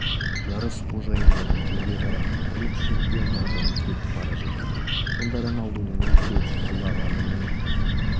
жарыс қожайындарын жерге қаратып құрлық чемпионы атанып кетіп бара жатыр сонда роналдудың екі рет жылағанының